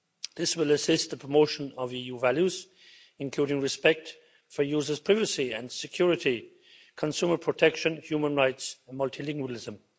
This will assist in the promotion of EU values, including respect for users' privacy and security, consumer protection, human rights and multilingualism.